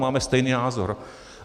Máme stejný názor.